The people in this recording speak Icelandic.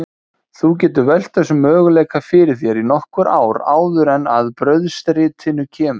Þú getur velt þessum möguleika fyrir þér í nokkur ár áður en að brauðstritinu kemur.